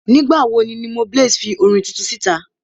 Nígbà wo ni Limoblaze fi orin tuntun sí ìta?